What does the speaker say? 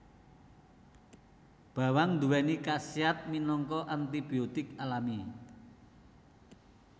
Bawang nduwèni khasiat minangka antibiotik alami